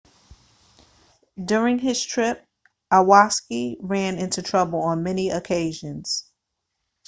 during his trip iwasaki ran into trouble on many occasions